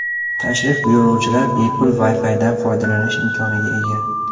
Tashrif buyuruvchilar bepul WiFi’dan foydalanish imkoniga ega.